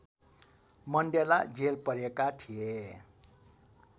Mandela jail परेका थिए